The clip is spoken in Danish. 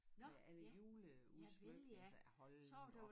Med alle juleudsmykninger og sagde hold da op